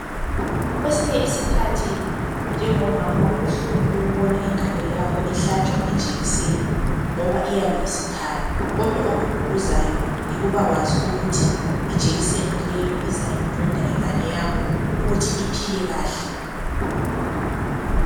Kubuhlungu ukubona ingane yakho ihlatshwa ijekiseni nxa ungumama kodwa okududuzayo yokuthi ijekiseni iyanceda inganeyakho ekucineni